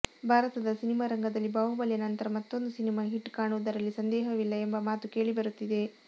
ಭಾರತದ ಸಿನಿಮಾ ರಂಗದಲ್ಲಿ ಬಾಹುಬಲಿಯ ನಂತರ ಮತ್ತೊಂದು ಸಿನಿಮಾ ಹಿಟ್ ಕಾಣುವುದರಲ್ಲಿ ಸಂದೇಹವಿಲ್ಲ ಎಂಬ ಮಾತು ಕೇಳಿಬರುತ್ತಿದೆ